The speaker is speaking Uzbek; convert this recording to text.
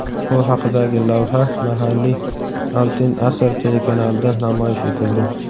Bu haqidagi lavha mahalliy "Altin asr" telekanalida namoyish etildi.